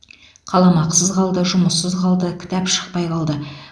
қаламақысыз қалды жұмыссыз қалды кітап шықпай қалды